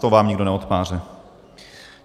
To vám nikdo neodpáře.